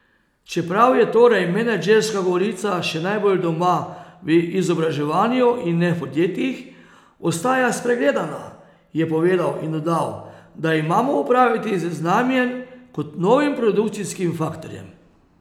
Čeprav je torej menedžerska govorica še najbolj doma v izobraževanju in ne v podjetjih, ostaja spregledana, je povedal in dodal, da imamo opraviti z znanjem kot novim produkcijskim faktorjem.